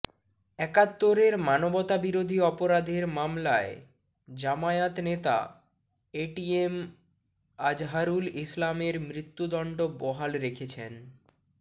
একাত্তরের মানবতাবিরোধী অপরাধের মামলায় জামায়াত নেতা এটিএম আজহারুল ইসলামের মৃত্যুদণ্ড বহাল রেখেছেন